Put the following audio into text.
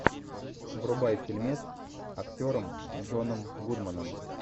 врубай фильмец с актером джоном гудманом